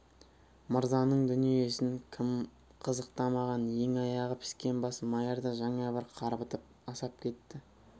мырзаның дүниесін кім қызықтамаған ең аяғы піскен бас майыр да жаңа бір қарбытып асап кетті